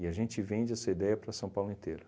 E a gente vende essa ideia para São Paulo inteiro.